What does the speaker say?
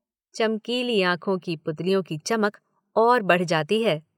चमकीली आंखों की पुतलियों की चमक और बढ़ जाती है।